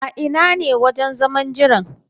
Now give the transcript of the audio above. A ina ne wajen zaman jiran?